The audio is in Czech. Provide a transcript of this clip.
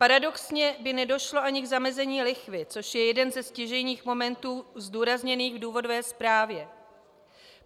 Paradoxně by nedošlo ani k zamezení lichvy, což je jeden ze stěžejních momentů zdůrazněných v důvodové zprávě.